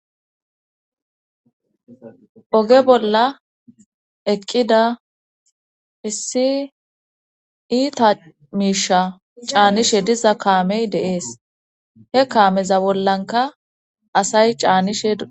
Oge bolla eqqida issi iita miisha caanishe diza kaamey deees he kaameza bollanka asay caanishe a.